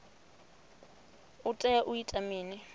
u tea u ita mini